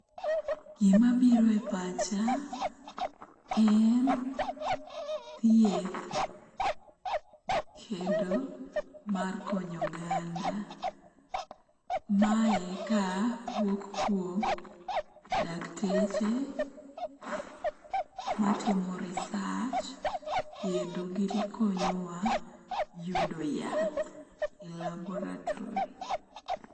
Gima biro e pacha en thieth kendo mar konyo oganda. Mae kawuok kuom dakteche matimo research kendo gi konyowa yudo yath e laboratory